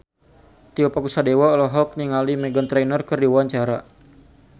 Tio Pakusadewo olohok ningali Meghan Trainor keur diwawancara